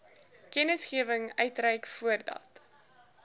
kennisgewing uitreik voordat